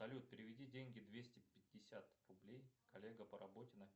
салют переведи деньги двести пятьдесят рублей коллега по работе